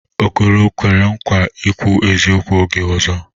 Okoro kwere nkwa ikwu eziokwu oge ọzọ?